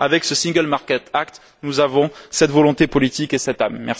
Avec ce single market act nous avons cette volonté politique et cette âme.